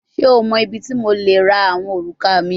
Ṣe o mọ ibiti mo le ra awọn oruka mi?